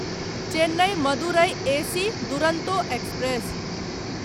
Chennai Madurai AC Duronto express